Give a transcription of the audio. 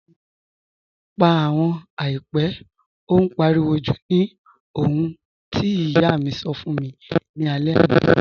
Pà àwọn àìpẹ̀, ó n páriwò jú̀ ní òhun tí iyà mi sọ́ fún mi ni àlẹ̀ àná